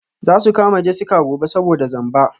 Za su kama Jessica gobe saboda zamba.